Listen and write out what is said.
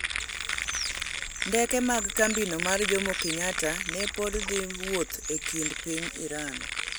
ndeke mag kambino mar Jomokenyatta ne pod dhi wuoth e kind piny Iran